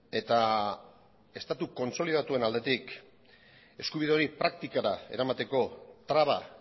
eta estatu kontsolidatuen aldetik eskubide hori praktikara eramateko traba